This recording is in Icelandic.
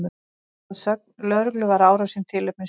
Að sögn lögreglu var árásin tilefnislaus